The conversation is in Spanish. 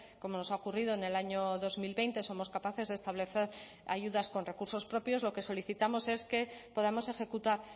como nos ha ocurrido en el año dos mil veinte somos capaces de establecer ayudas con recursos propios lo que solicitamos es que podamos ejecutar